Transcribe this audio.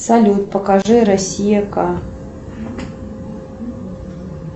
салют покажи россия к